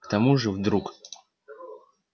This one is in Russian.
к тому же вдруг